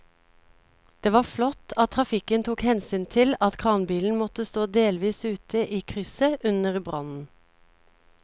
Det var flott at trafikken tok hensyn til at kranbilen måtte stå delvis ute i krysset under brannen.